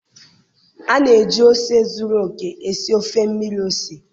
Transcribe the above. A na-eji ose zuru oke esi ofe mmiri ose